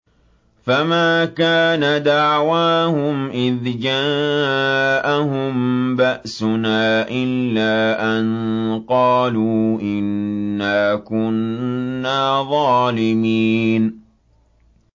فَمَا كَانَ دَعْوَاهُمْ إِذْ جَاءَهُم بَأْسُنَا إِلَّا أَن قَالُوا إِنَّا كُنَّا ظَالِمِينَ